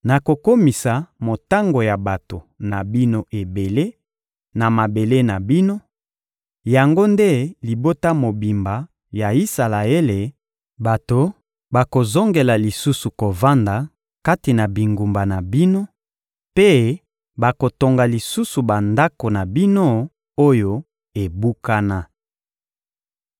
Nakokomisa motango ya bato na bino ebele, na mabele na bino: yango nde libota mobimba ya Isalaele; bato bakozongela lisusu kovanda kati na bingumba na bino mpe bakotonga lisusu bandako na bino oyo ebukana.